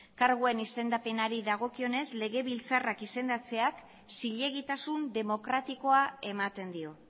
karguen izendapenari dagokionez legebiltzarrak izendatzeak zilegitasun demokratikoa ematen dio